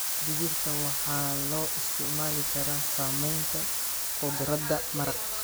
Digirta waxaa loo isticmaali karaa sameynta khudradda maraq.